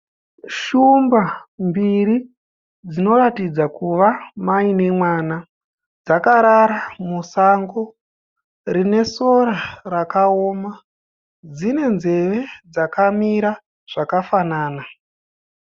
Shumba mbiri dzinoratidza kuva mai nemwana. Dzakarara musango, rine sora rakaoma. Dzine nzeve dzakamira zvakafanana.